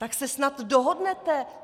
Tak se snad dohodnete?